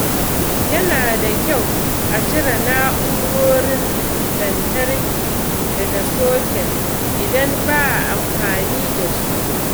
Yana da kyau a cire na'urorin lantarki daga socket idan ba a amfani da su.